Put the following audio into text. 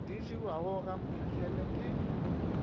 di jewago ga mphahlele ke